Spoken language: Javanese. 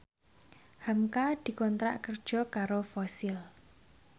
hamka dikontrak kerja karo Fossil